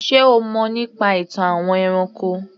Ṣé o mọ̀ nípa ìtàn àwọn ẹranko?